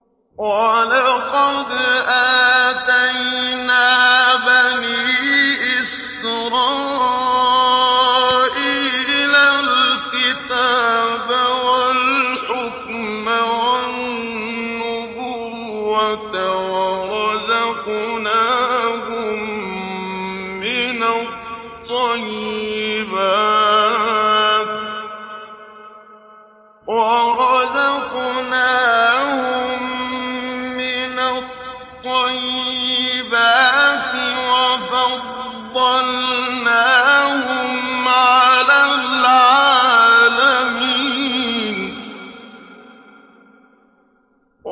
وَلَقَدْ آتَيْنَا بَنِي إِسْرَائِيلَ الْكِتَابَ وَالْحُكْمَ وَالنُّبُوَّةَ وَرَزَقْنَاهُم مِّنَ الطَّيِّبَاتِ وَفَضَّلْنَاهُمْ عَلَى الْعَالَمِينَ